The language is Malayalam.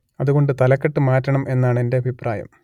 അതുകൊണ്ട് തലക്കെട്ട് മാറ്റണം എന്നാണെന്റെ അഭിപ്രായം